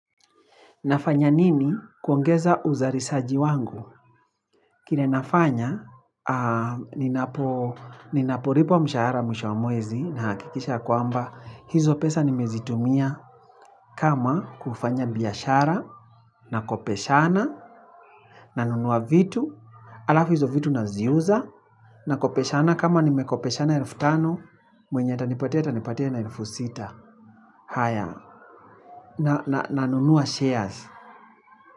Nafanya nini kuongeza uzarisaji wangu? Kile nafanya, ninaporipwa mshahara mwisho wa mwezi na hakikisha kwamba. Hizo pesa nimezitumia kama kufanya biashara, na kopeshana, na nunua vitu. Alafu hizo vitu naziuza, na kopeshana kama nimekopeshana elfu tano, mwenye atanipatia atanipatia na elfu sita. Haya, na nunua shares.